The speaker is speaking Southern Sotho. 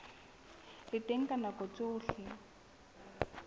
le teng ka nako tsohle